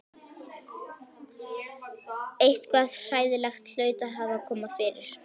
Eitthvað hræðilegt hlaut að hafa komið fyrir.